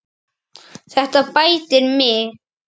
Þetta bætir mig.